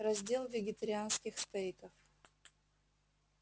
раздел вегетарианских стейков